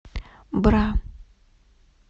бра